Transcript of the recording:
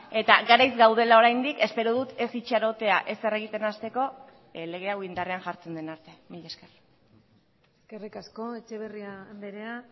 eta garaiz gaudela oraindik espero dut ez itxarotea ezer egiten hasteko lege hau indarrean jartzen den arte mila esker eskerrik asko etxeberria andrea